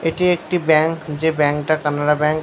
এটি একটি ব্যাংক । যে ব্যাংক -টা কানাড়া ব্যাংক ।